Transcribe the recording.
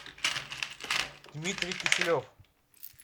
дмитрий киселев